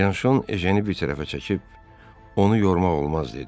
Bianşon Ejeni bir tərəfə çəkib, onu yormaq olmaz dedi.